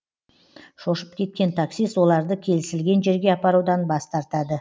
шошып кеткен таксист оларды келісілген жерге апарудан бас тартады